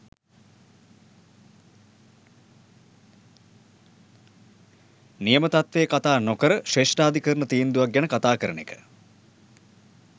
නියම තත්ත්වය කථා නොකර ශ්‍රේෂ්ඨාධිකරණ තීන්දුවක් ගැන කථා කරන එක.